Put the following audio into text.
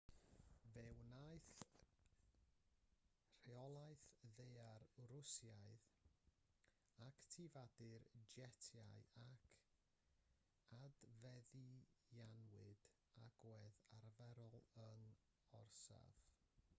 fe wnaeth rheolaeth ddaear rwsiaidd actifadu'r jetiau ac adfeddianwyd agwedd arferol yr orsaf